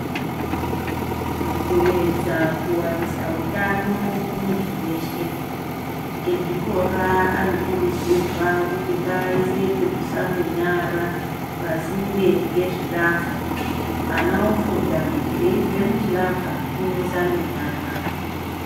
Mukuedza kuwanisa utano kumuntu weshe, ezvikora anokurudzirwa kuti ngaaise pekusambe nyara, pasinde ngezvilavha, ana ofunda kuti eibve muchilavha, unosambe nyara.